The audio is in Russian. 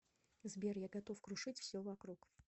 сбер я готов крушить все вокруг